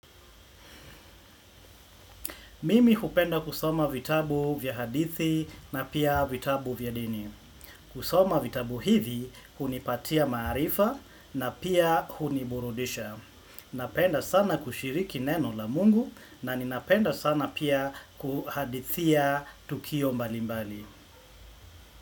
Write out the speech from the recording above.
Mimi hupenda kusoma vitabu vya hadithi na pia vitabu vya dini. Kusoma vitabu hivi, hunipatia maarifa na pia huniburudisha. Napenda sana kushiriki neno la mungu na ninapenda sana pia kuhadithia tukio mbalimbali.